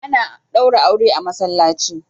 Ana ɗaura aure a masallaci.